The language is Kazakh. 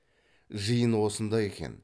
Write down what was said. жиын осында екен